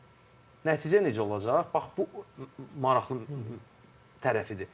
Nəticə necə olacaq, bax bu maraqlı tərəfidir.